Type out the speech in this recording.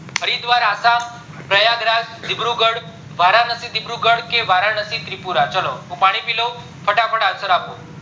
હરિદ્વાર આસ્સમ, પ્રયાગરાજ , વારાણસી વિદૃગઢ કે વારાણસી ત્રિપુરા હું પાણી પી લઉં ફટાફટ answer આપો